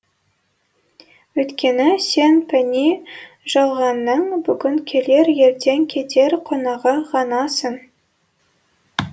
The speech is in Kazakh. өйткені сен пәни жалғанның бүгін келер ертең кетер қонағы ғанасың